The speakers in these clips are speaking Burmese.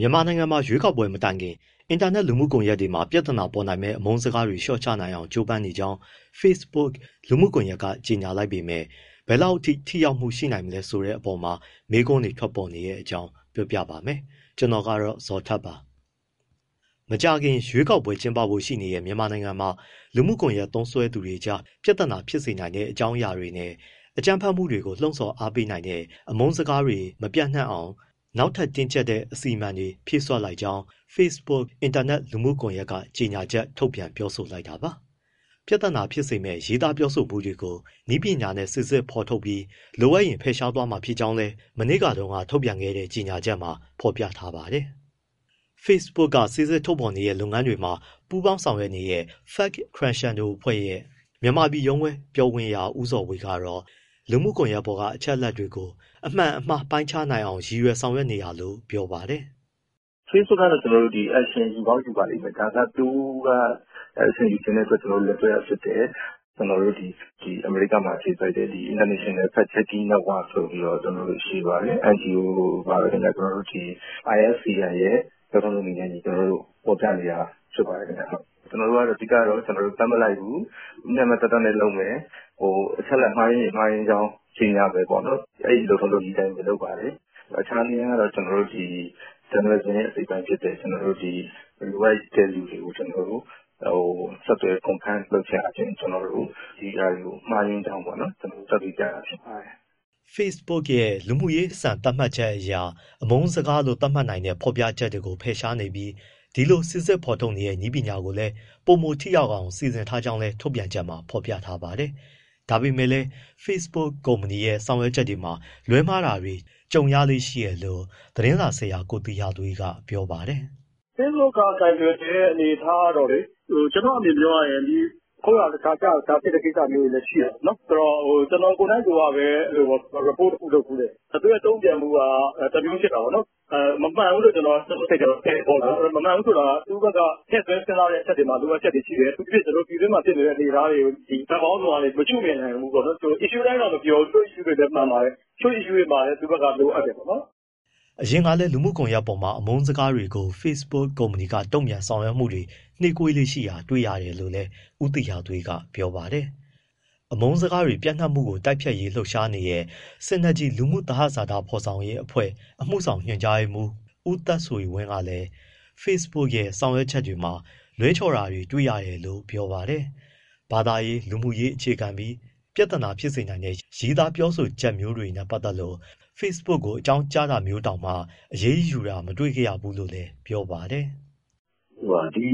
ြန်မာနိုင်ငံမှာ ရွေးကောက်ပွဲ မတိုင်ခင် အင်တာနက် လူမှုကွန်ရက်တွေမှာ ပြဿနာပေါ်နိုင်မယ့် အမုန်းစကားတွေ လျှော့ချနိုင်အောင် ကြိုးပမ်းနေကြောင်း Facebook လူမှုကွန်ရက်က ကြေညာလိုက်ပေမဲ့ ဘယ်လောက်အထိ ထိရောက်မှု ရှိနိုင်မလဲ ဆိုတဲ့အပေါ်မှာ မေးခွန်းတွေ ထွက်ပေါ်နေတဲ့အကြောင်း ပြောပြပါမယ်။ ဗွီအိုအေမြန်မာပိုင်းသတင်းထောက် ကိုဇော်ထက်က ပြောပြပေးပါမယ်။ မကြာခင်ရွေးကောက်ပွဲတွေ ကျင်းပဖို့ ရှိနေတဲ့ မြန်မာနိုင်ငံမှာ လူမှုကွန်ရက် သုံးသူတွေကြား ပြဿနာဖြစ်စေနိုင်တဲ့ အကြောင်းအရာတွေနဲ့ အကြမ်းဖက်မှုတွေကို လှုံ့ဆော်အားပေးတဲ့ အမုန်းစကားတွေ မပျံ့နှံ့အောင် နောက်ထပ် တင်းကြပ်တဲ့ အစီအမံတွေ ဖြည့်စွက်လိုက်ကြောင်း Facebook အင်တာနက် လူမှုကွန်ရက်က ကြေညာချက်ထုတ်ပြန် ပြောဆိုလိုက်တာပါ။ ပြဿနာဖြစ်စေမယ့် ရေးသားပြောဆိုမှုတွေကို နည်းပညာနဲ့ စိစစ်ဖော်ထုတ်ပြီး လိုအပ်ရင် ဖယ်ရှားသွားမှာ ဖြစ်ကြောင်းလည်း မနေ့တုန်းကထုတ်ပြန်တဲ့ ကြေညာချက်မှာ ဖော်ပြထားပါတယ်။ Facebook က စိစစ်ဖော်ထုတ်တဲ့ လုပ်ငန်းတွေမှာ ပူးပေါင်းပါဝင်နေတဲ့ Fact Crescendo အဖွဲ့ရဲ့ မြန်မာပြည်ရုံးခွဲ ပြောခွင့်ရ ဦးဇော်ဝေကတော့ လူမှုကွန်ရက်ပေါ်က အချက်အလက်တွေကို အမှန်၊ အမှားပိုင်းခြားနိုင်အောင် ရည်ရွယ်ဆောင်ရွက်နေတာလို့ ပြောပါတယ်။ “ Facebook ကတော့ action ယူကောင်း ယူပါလိမ့်မယ်၊ သူက action ယူချင်တဲ့အတွက် ကျနော်တို့ကို လက်တွဲတာဖြစ်တယ်။ကျနော်တို့ အမေရိကမှာ အခြေစိုက်တဲ့ International Fact Checking Network ဆိုတာရှိပါတယ် NGO ပါပဲခင်ဗျ၊ ကျနော်တို့ ဒီ IFCN ရဲ့ လုပ်ထုံးလုပ်နည်းနဲ့အညီ ဖော်ပြနေတာ ဖြစ်ပါတယ် ခင်ဗျ။ အဓိကတော့ ကျနော်တို့ ဘက်မလိုက်ဘူး၊ မျှမျှတတနဲ့လုပ်မယ်၊ အချက်အလက် မှားယွင်းရင် မှားယွင်းကြောင်း ကြေညာမယ်ပေါ့နော်၊ အဲဒီလုပ်ထုံးလုပ်နည်းအတိုင်း လုပ်ပါတယ်။ အခြားနည်းလမ်းကတော့ ကျနော်တို့ ဒီ journalism ရဲ့ အစိတ်အပိုင်းဖြစ်တဲ့ လိုအပ်တဲ့သူတွေကို ကျနော်တို့ ဆက်သွယ် confirm လုပ်ခြင်းအားဖြင့် ဒီဟာတွေ မှားယွင်းကြောင်း ကျနော်တို့ သက်သေပြတာ ဖြစ်ပါတယ်။” Facebook ရဲ့ လူမှုရေးစံသတ်မှတ်ချက်အရ အမုန်းစကားလို့ သတ်မှတ်နိုင်တဲ့ ဖော်ပြချက်တွေကို ဖယ်ရှားနေပြီး၊ ဒီလိုစိစစ်ဖော်ထုတ်တဲ့ နည်းပညာကိုလည်း ပိုမိုထိရောက်အောင် စီစဉ်ထားကြောင်းလည်း ထုတ်ပြန်ချက်မှာ ဖော်ပြထားပါတယ်။ ဒါပေမဲ့လည်း Facebook ကုမ္ပဏီရဲ့ ဆောင်ရွက်ချက်တွေမှာ လွဲမှားတာတွေ ကြုံရလေ့ ရှိတယ်လို့ သတင်းစာဆရာ ကိုသီဟသွေးက ပြောပါတယ်။ “ Facebook ကကိုင်တွယ်နေတဲ့ အနေအထားကတော့လေ ကျနော့်အမြင်ပြောရရင် ခုတ်ရာတခြား၊ ရှရာတခြားဖြစ်တဲ့ကိစ္စ မျိုးတွေလည်း ရှိတာပေါ့နော်။ ဆိုတော့ ကျနော် ကိုယ်နှိုက်ကပဲ report တခုလုပ်ဖူးတယ် သူ့ရဲ့တုံ့ပြန်မှုက တမျိုးဖြစ်တာပေါ့နော်၊ မမှန်ဘူးလို့ ကျနော့်စိတ်ထဲ ထင်တာပေါ့နော်၊ မမှန်ဘူးဆိုတာ သူ့ဘက်က ထည့်သွင်းစဉ်းစားရမယ့် အချက်တွေမှာ လိုအပ်ချက်တွေရှိတယ်၊ အထူးသဖြင့် ကျနော်တို့ ပြည်တွင်းမှာ ဖြစ်နေတဲ့ အနေအထားတွေကို ဘက်ပေါင်းစုံကနေ မရှုမြင်နိုင်ဘူးပေါ့နော်၊ issue တိုင်းတော့ မပြောဘူး၊ တချို့ issue တွေလည်း မှန်ပါတယ်၊ တချို့ issue တွေမှာလည်း သူ့ဘက်က လိုအပ်တယ်ပေါ့နော်။” အရင်ကလည်း လူမှုကွန်ရက်ပေါ်မှာ အမုန်းစကားတွေကို Facebook ကုမ္ပဏီက တုံ့ပြန်ဆောင်ရွက်မှုတွေ နှေးကွေးလေ့ရှိတာ တွေ့ရတယ်လို့လည်း ဦးသီဟသွေးက ပြောပါတယ်။ အမုန်းစကားတွေ ပျံ့နှံ့မှုကို တိုက်ဖျက်ရေး လှုပ်ရှားနေတဲ့ Synergy လူမှုသဟဇာတ ဖော်ဆောင်ရေးအဖွဲ့ အမှုဆောင်ညွှန်ကြားရေးမှူး ဦးသက်ဆွေဝင်းကလည်း Facebook ရဲ့ ဆောင်ရွက်ချက်တွေမှာ လွဲချော်တာတွေ တွေ့တယ်လို့ ပြောပါတယ်။ ဘာသာရေး လူမျိုးရေး အခြေခံပြီး ပြဿနာဖြစ်စေနိုင်တဲ့ ရေးသားပြောဆိုချက်မျိုးတွေနဲ့ ပတ်သက်လို့ Facebook ကို အကြောင်းကြားတာမျိုးကိုတောင်မှ အရေးယူတာမတွေ့ခဲ့ရဘူးလို့လည်း ပြောပါတယ်။ “ ဒီ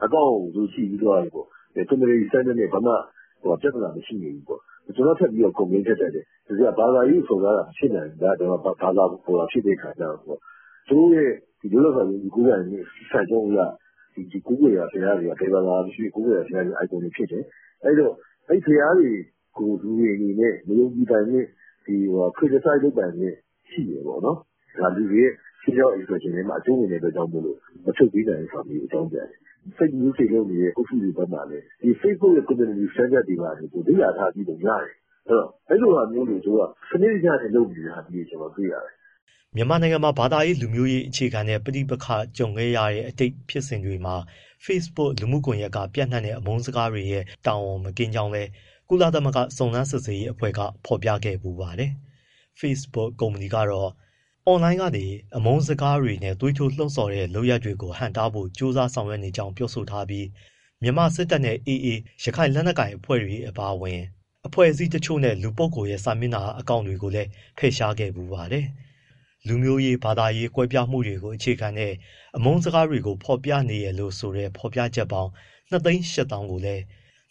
account ကို သူတို့ကြည့်ပြီးသွားပြီပေါ့ community standard နဲ့ ဘာမှ ပြဿနာ မရှိနေဘူးပေါ့၊ ကျနော်က ဆက်ပြီး complaint တက်တယ် ဘာသာရေးစော်တာမျိုး မဖြစ်နိုင်ဘူးလားပေါ့။ ( Facebook ကအကြောင်းပြန်တာက) သူတို့ရဲ့ လွတ်လပ်စွာ ယုံကြည်ကိုးကွယ်ခွင့် စံနှုန်းအရ ဘယ်ဘာသာ ကိုးကွယ်ရာဘုရားတွေက icon တွေသာဖြစ်တယ်ပေါ့ အဲဒီဘုရားတွေကို လူတွေအနေနဲ့ မယုံကြည်ပိုင်ခွင့်၊ criticize ( ဝေဖန်) လုပ်ပိုင်ခွင့် ရှိတယ်ပေါ့နော်။ ဒါလူတွေရဲ့ freedom of expression ထဲမှာ အကြုံးဝင်တဲ့အတွက်ကြောင့်မို့ မဖြုတ်ပေးနိုင်ဘူးဆိုတာ အကြောင်းပြန်တယ်။ Fake news တွေလုပ်နေတဲ့ အုပ်စုတွေဘက်မှာလည်း facebook community standard တွေ လေ့လာထားပုံ ရတယ်။ အဲဒီလိုဟာမျိုးတွေကို သူတို့က စနစ်တကျ လုပ်နေတာမျိုးတွေ တွေ့ရတယ်။” မြန်မာနိုင်ငံမှာ ဘာသာရေး၊ လူမျိုးရေး အခြေခံတဲ့ ပဋိပက္ခတွေ ကြုံခဲ့ရတဲ့ အတိတ်က ဖြစ်စဉ်တွေမှာ Facebook လူမှုကွန်ရက်က ပျံ့နှံ့တဲ့ အမုန်းစကားတွေရဲ့ တာဝန်မကင်းကြောင်း ကုလသမဂ္ဂ စုံစမ်းစစ်ဆေးရေးအဖွဲ့ကလည်း ဖော်ပြခဲ့ဖူးပါတယ်။ Facebook ကုမ္ပဏီကတော့ အွန်လိုင်းကနေ အမုန်းစကားတွေနဲ့ သွေးထိုးလှုံ့ဆော်တဲ့ လုပ်ရပ်တွေကို ဟန့်တားဖို့ ကြိုးပမ်းဆောင်ရွက်နေကြောင်း ပြောဆိုထားပြီး မြန်မာစစ်တပ်နဲ့ AA ရခိုင်လက်နက်ကိုင် အဖွဲ့တို့ အပါအဝင် အဖွဲ့အစည်းတချို့နဲ့ လူပုဂ္ဂိုလ်တွေရဲ့ စာမျက်နှာတွေ အကောင့်တွေကိုလည်း ဖယ်ရှားခဲ့ဖူးပါတယ်။ လူမျိုးရေး၊ ဘာသာရေးကွဲပြားမှုတွေကို အခြေခံတဲ့ အမုန်းစကားတွေကို ဖော်ပြနေတယ်လို့ဆိုတဲ့ ဖော်ပြချက်ပေါင်း ၂၈၀,၀၀၀ ကိုလည်း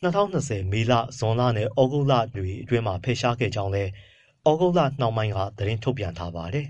၂၀၂၀ ပြည့် မေလ၊ ဇွန်လနဲ့ သြဂုတ်လတွေအတွင်းမှာ ဖယ်ရှားခဲ့ကြောင်းလည်း သြဂုတ်လနှောင်းပိုင်းက သတင်းထုတ်ပြန်ထားပါတယ်။